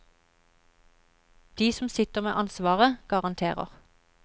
De som sitter med ansvaret, garanterer.